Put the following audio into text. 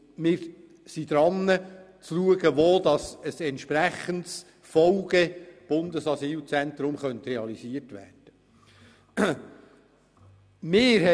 Wir sind daran zu entsprechendes FolgeBundesasylzentrum eingerichtet werden könnte.